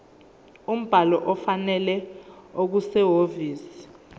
umbhalo ofanele okusehhovisi